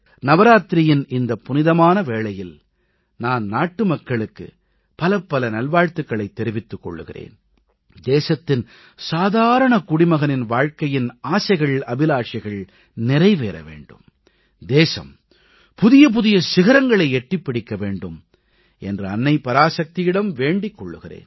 நவராத்திரியின் இந்தப் புனிதமான வேளையில் நான் நாட்டுமக்களுக்கு பலபல நல்வாழ்த்துகளைத் தெரிவித்துக் கொள்கிறேன் தேசத்தின் சாதாரணக் குடிமகனின் வாழ்க்கையின் ஆசைகள்அபிலாஷைகள் நிறைவேற வேண்டும் தேசம் புதிய புதிய சிகரங்களை எட்டிப் பிடிக்க வேண்டும் என்று அன்னை பராசக்தியிடம் வேண்டிக் கொள்கிறேன்